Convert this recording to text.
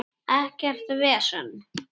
Ekkert vesen!